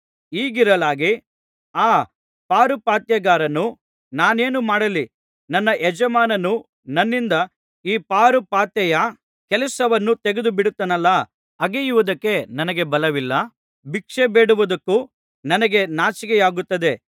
ಹೀಗಿರಲಾಗಿ ಆ ಪಾರುಪಾತ್ಯಗಾರನು ನಾನೇನು ಮಾಡಲಿ ನನ್ನ ಯಜಮಾನನು ನನ್ನಿಂದ ಈ ಪಾರುಪಾತ್ಯೆಯ ಕೆಲಸವನ್ನು ತೆಗೆದುಬಿಡುತ್ತಾನಲ್ಲಾ ಅಗೆಯುವದಕ್ಕೆ ನನಗೆ ಬಲವಿಲ್ಲ ಭಿಕ್ಷೆ ಬೇಡುವುದಕ್ಕೆ ನನಗೆ ನಾಚಿಕೆಯಾಗುತ್ತದೆ